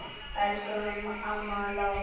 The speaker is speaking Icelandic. Elsku amma Lára.